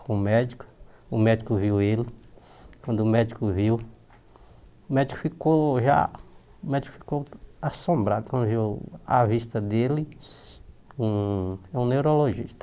com o médico, o médico viu ele, quando o médico viu, o médico ficou já o médico ficou assombrado, quando viu a vista dele, um um neurologista.